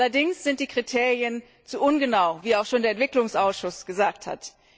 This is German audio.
Allerdings sind die Kriterien zu ungenau, wie auch schon der Entwicklungsausschuss gesagt hat.